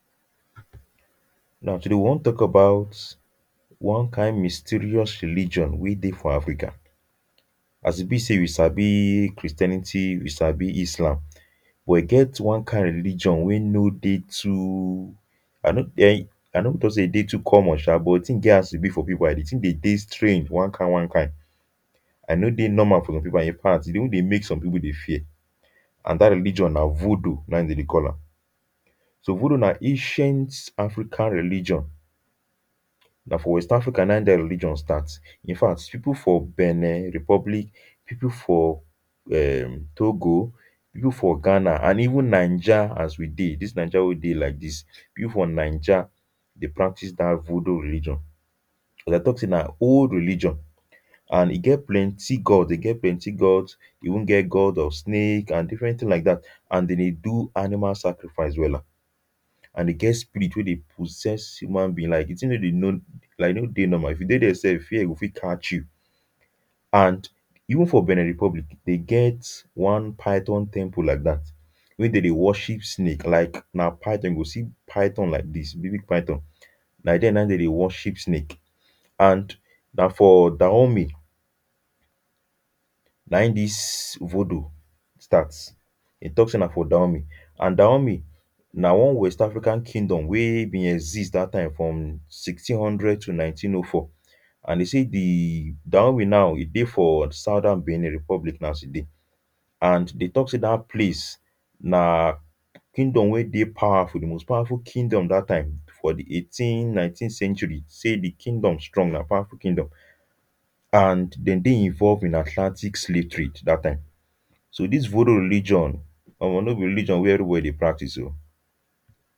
now today we wan talk about one kind mysterious religion weh deh for Africa as e be say we sabi christianity we sabi islam but e get one kind religion wey no deh too i no um i no talk say e deh too common um but the thing get as e be for people and the thing dhe deh strange one kind one kind and e no deh normal for some people and infact e deh even deh make some people deh fear and that religion nah voodoo nah in them deh call am so voodoo nah ancient African religion nah for west africa nah in that religion start infact people for Benin Republic people for um Togo people for Ghana and even Niger as we deh this Niger weh we deh like this people for niger deh practice that voodoo religion them deh talk say nah old religion and e get plenty god deh get plenty gods they even get god of snake and different things like that and them deh do animal sacrifice wella and e get spirit weh deh possess human being like de thing weh them know like e no deh normal if you deh there sef fear go fit catch you and even for Benin Republic them get one python temple like that weh dem deh worship snake like nah python them go see python like this big big python nah there nah in them deh worship snake and nah for Dahomey nah in this voodoo start them talk say nah for Dahomey and Dahomey nah one West African Kingdom weh been exist that time from Sixteen thousand and one hundred to Nineteen hundred and four and they say the Dahomey now e deh for Southern Benin Republic nah as we deh and they talk say that place nah Kingdom wey deh powerful the most powerful Kingdom that time for the eighteen nineteen century say the Kingdom strong nah powerful Kingdom and them deh involve in Asiatic? slave trade that time so this voodoo religion um no be religion weh everybody deh practice o.